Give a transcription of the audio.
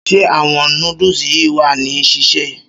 Ṣé àwọn noodles yìí wà ní sísè?